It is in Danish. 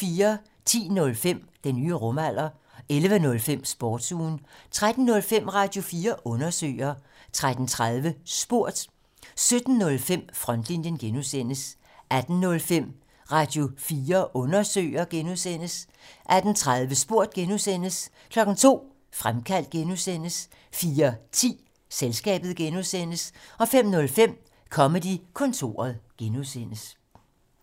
10:05: Den nye rumalder 11:05: Sportsugen 13:05: Radio4 Undersøger 13:30: Spurgt 17:05: Frontlinjen (G) 18:05: Radio4 Undersøger (G) 18:30: Spurgt (G) 02:00: Fremkaldt (G) 04:10: Selskabet (G) 05:05: Comedy-kontoret (G)